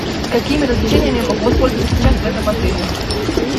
какими развлечениями я могу воспользоваться сейчас в этом отеле